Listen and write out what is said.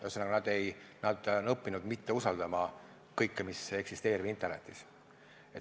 Ühesõnaga, nad on õppinud mitte usaldama kõike, mis eksisteerib internetis.